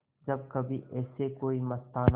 जब कभी ऐसे कोई मस्ताना